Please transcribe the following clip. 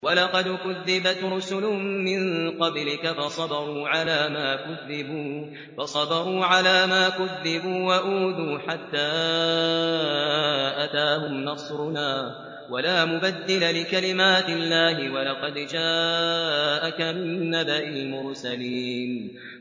وَلَقَدْ كُذِّبَتْ رُسُلٌ مِّن قَبْلِكَ فَصَبَرُوا عَلَىٰ مَا كُذِّبُوا وَأُوذُوا حَتَّىٰ أَتَاهُمْ نَصْرُنَا ۚ وَلَا مُبَدِّلَ لِكَلِمَاتِ اللَّهِ ۚ وَلَقَدْ جَاءَكَ مِن نَّبَإِ الْمُرْسَلِينَ